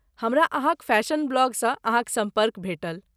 हमरा अहाँक फैशन ब्लॉगसँ अहाँक सम्पर्क भेटल।